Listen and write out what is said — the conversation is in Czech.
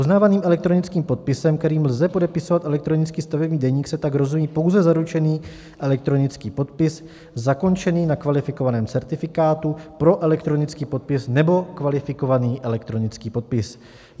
Uznávaným elektronickým podpisem, kterým lze podepisovat elektronický stavební deník, se tak rozumí pouze zaručený elektronický podpis zakončený na kvalifikovaném certifikátu pro elektronický podpis nebo kvalifikovaný elektronický podpis.